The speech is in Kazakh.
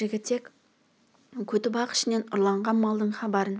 жігітек көтібақ ішінен ұрланған малдардың хабарын